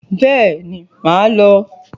Bẹ́ẹ̀ màá lọ